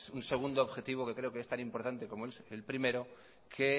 un segundo objetivo que creo que es tan importante como el primero que